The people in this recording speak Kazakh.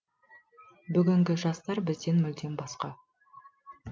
бүгінгі жастар бізден мүлде басқа